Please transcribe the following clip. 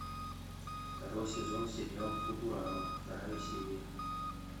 второй сезон сериал футурама вторая серия